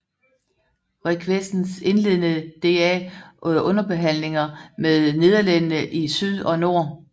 Requesens indledede da underhandlinger med nederlænderne i syd og nord